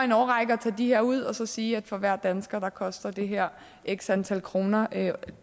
en årrække at tage de her ud og så sige at for hver dansker koster det her x antal kroner